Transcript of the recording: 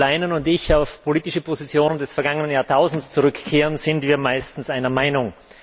Wenn Jo Leinen und ich auf politische Positionen des vergangen Jahrtausends zurückkehren, sind wir meistens einer Meinung.